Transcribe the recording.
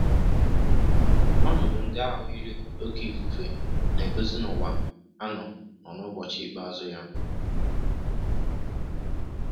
Ọnọdụ ndị ahụ yiri oké ifufe na-egosi na ụwa a nọ n'ụbọchị ikpeazụ ya.